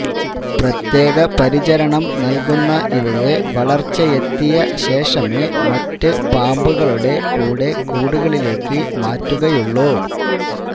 പ്രത്യേക പരിചരണം നല്കുന്ന ഇവയെ വളര്ച്ചയെത്തിയ ശേഷമേ മറ്റ് പാമ്പുകളുടെ കൂടെ കൂടുകളിലേക്ക് മാറ്റുകയുള്ളു